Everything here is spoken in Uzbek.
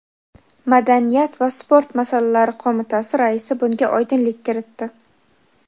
madaniyat va sport masalalari qo‘mitasi raisi bunga oydinlik kiritdi.